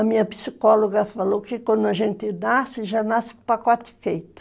A minha psicóloga falou que quando a gente nasce, já nasce com o pacote feito.